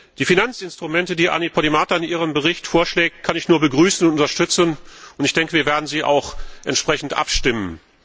Die Finanzinstrumente, die Anni Podimata in ihrem Bericht vorschlägt, kann ich nur begrüßen und unterstützen, und ich denke, wir werden auch entsprechend abstimmen.